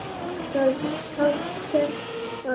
En það sést alveg.